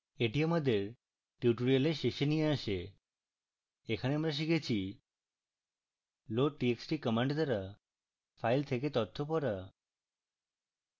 এটি আমাদের tutorial শেষে নিয়ে আসে এখানে আমরা শিখেছি: